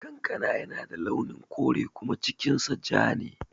Kankana yana da launin kore kuma cikin sa ja ne